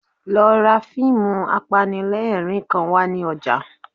Lọ ra fíìmù apanilẹ́rìn-ín kan wá ní ọjà